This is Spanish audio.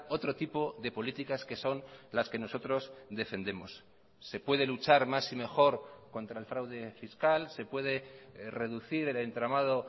otro tipo de políticas que son las que nosotros defendemos se puede luchar más y mejor contra el fraude fiscal se puede reducir el entramado